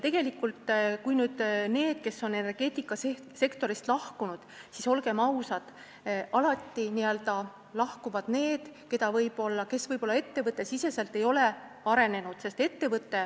Tegelikult, kui rääkida nendest, kes on energeetikasektorist lahkunud, siis olgem ausad, alati lahkuvad need, kes ei ole võib-olla ettevõttes arenenud.